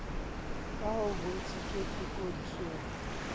ka ha ho bontshitswe tekodisiksong